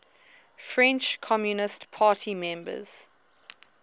french communist party members